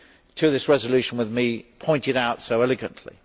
to this resolution with me pointed out so eloquently.